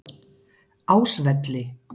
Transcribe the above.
Ásvelli